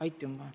Aitümä!